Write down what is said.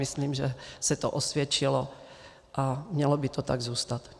Myslím, že se to osvědčilo a mělo by to tak zůstat.